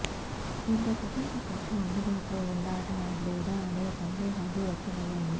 దీంతో ప్రపంచ కప్కు అందుబాటులో ఉంటాడ లేదా అనే సందే హాలు వ్యక్తమయ్యాయ